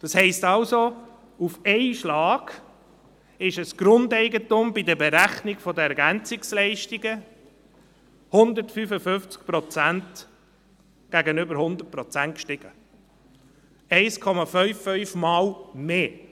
Das heisst, auf einen Schlag ist das Grundeigentum bei der Berechnung der EL um 155 Prozent gegenüber 100 Prozent gestiegen, 1,55-mal mehr.